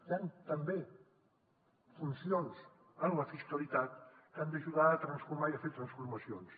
hi han també funcions en la fiscalitat que han d’ajudar a transformar a fer transformacions